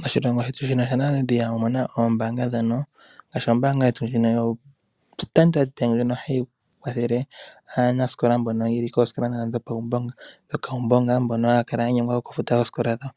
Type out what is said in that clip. Moshilongo shetu ShaNamibia omuna oombaanga ngaashi ombaanga ndjoka yoStandard, ndjoka hayi kwathele aanasikola mboka yeli koosikola dhopawumbonga mboka haya kala ya nyengwa okufuta oosikola dhawo.